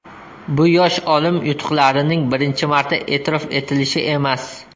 Bu yosh olim yutuqlarining birinchi marta e’tirof etilishi emas.